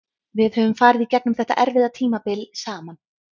Við höfum farið í gegnum þetta erfiða tímabil saman.